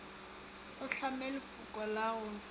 o hlame lefoko la go